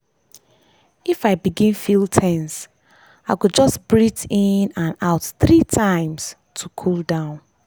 if i begin feel ten se i go just breath in and out three times to cool down.